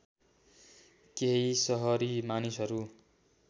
केही सहरी मानिसहरू